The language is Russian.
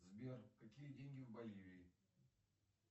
сбер какие деньги в боливии